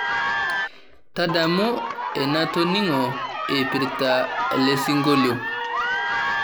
tadamu enatoning'o eipirta elesingolio